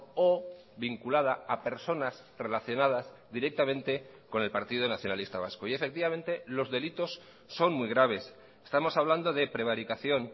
o vinculada a personas relacionadas directamente con el partido nacionalista vasco y efectivamente los delitos son muy graves estamos hablando de prevaricación